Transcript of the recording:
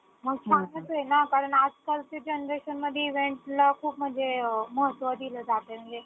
गटा ने खेळण्याचे खेळ महत्वाचे असतात म्हणजे group type जसे फुटबॉल, हॉकी, क्रिकेट ही सुद्धा game आहेत. मुले खेळ लवकर शिकतात. त्यामधे एक प्राविन्य सुद्धा त्यांना मिळतं. म्हणजे